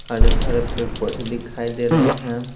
हरे भरे पेर पौधे दिखाई दे रहे हैं।